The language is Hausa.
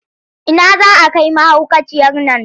Ina za a kai mahaukaciyar nan?